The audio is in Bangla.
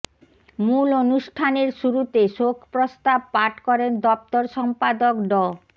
মূল অনুষ্ঠানের শুরুতে শোক প্রস্তাব পাঠ করেন দফতর সম্পাদক ড